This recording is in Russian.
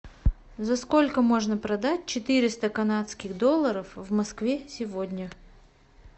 за сколько можно продать четыреста канадских долларов в москве сегодня